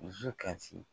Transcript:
Dusu kasi